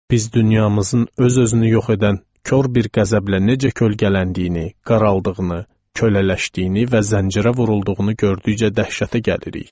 Biz dünyamızın öz-özünü yox edən kor bir qəzəblə necə kölgələndiyini, qaraldığını, kölələşdiyini və zəncirə vurulduğunu gördükcə dəhşətə gəlirik.